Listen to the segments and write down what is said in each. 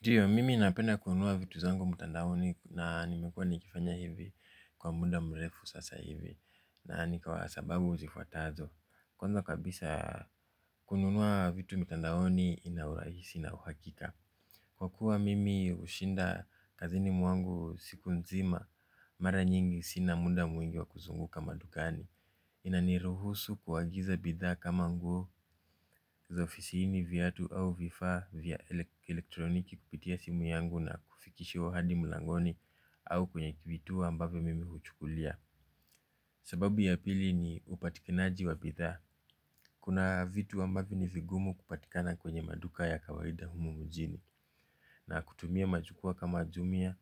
Ndiyo, mimi napenda kununua vitu zangu mutandaoni na nimekua nikifanya hivi kwa muda mrefu sasa hivi na nikawa sababu zifuatazo. Kwanza kabisa kununua vitu mutandaoni ina urahisi na uhakika. Kwa kuwa mimi ushinda kazini mwangu siku nzima mara nyingi sina muda mwingi wa kuzunguka madugani. Inani ruhusu kuagiza bidha kama nguo za ofisiini vyatu au vifa vya elektroniki kupitia simu yangu na kufikishiwa hadi mulangoni au kwenye kivituwo ambavo mimi huchukulia. Sababu ya pili ni upatikinaji wa bidha. Kuna vitu ambavo ni vigumu kupatikana kwenye maduka ya kawaida humu mujini. Na kutumia majukua kama jumia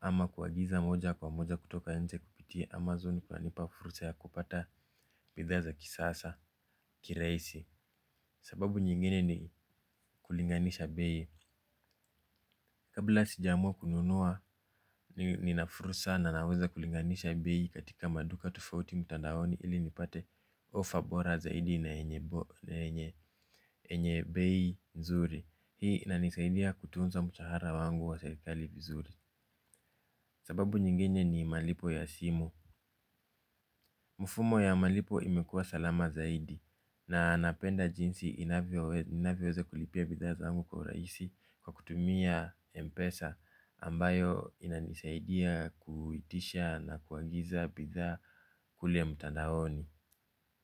ama kuagiza moja kwa moja kutoka nje kupitia Amazon kwanipa furusa ya kupata bidha za kisasa kireisi. Sababu nyingine ni kulinganisha beyi. Kabla sijamua kununua nina furusa na naweza kulinganisha beyi katika maduka tofauti mtandaoni ili nipate offer bora zaidi na enye beyi nzuri. Hii inanisaidia kutunza mshahara wangu wa serikali vizuri. Sababu nyingine ni malipo ya simu. Mfumo ya malipo imekua salama zaidi. Na napenda jinsi inavyoza kulipia bitha zaangu kwa uraisi. Kwa kutumia mpesa ambayo inanisaidia kuitisha na kuagiza bitha kule mutandaoni.